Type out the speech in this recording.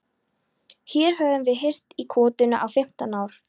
Hér höfum við hírst í kotinu í fimmtán ár.